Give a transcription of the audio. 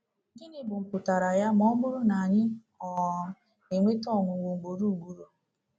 Gịnị bụ mpụtara ya ma ọ bụrụ na anyị um na-enweta ọnwụnwa ugboro ugboro?